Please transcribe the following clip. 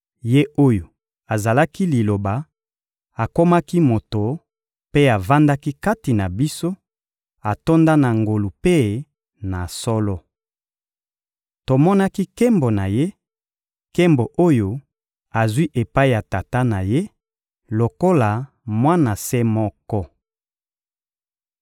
Ye oyo azalaki Liloba akomaki moto mpe avandaki kati na biso, atonda na ngolu mpe na solo. Tomonaki nkembo na Ye, nkembo oyo azwi epai ya Tata na Ye, lokola Mwana se moko.